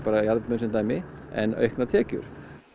jarðböðin sem dæmi en auknar tekjur